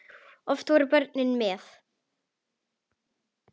Oft voru börnin með.